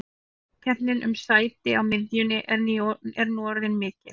Samkeppnin um sæti á miðjunni er nú orðin mikil.